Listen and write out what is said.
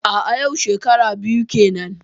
A'a yau shekara biyu kenan.